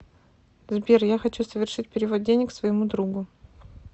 сбер я хочу совершить перевод денег своему другу